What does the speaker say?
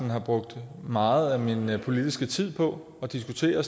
har brugt meget af min politiske tid på at diskutere